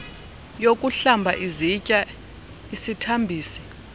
yokuhlamba izitya isithambisi